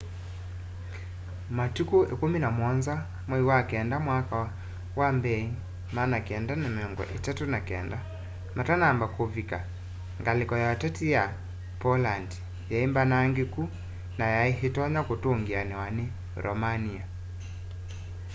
matuku 17 mwai wa kenda mwaka wa 1939 matanamba kuvika ngaliko ya ũteti ya poland yaimbanangikũ na yai itonya kũtungianiwa ni romania